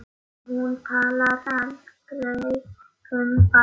Hún talar aldrei um barnið.